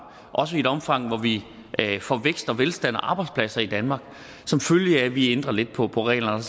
også i et omfang hvor vi får vækst og velstand og arbejdspladser i danmark som følge af at vi ændrer lidt på på reglerne